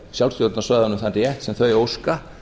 sjálfsstjórnarsvæðunum sem þau óska